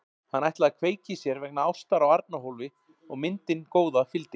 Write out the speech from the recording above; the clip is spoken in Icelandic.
Hann ætlaði að kveikja í sér vegna ástar á Arnarhóli og myndin góða fylgdi.